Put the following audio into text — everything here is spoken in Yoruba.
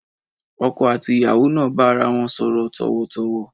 Ọkọ̀ àti ìyàwó náà bá ara wọn sọ̀rọ̀ tọ̀wọ̀tọ̀wọ̀.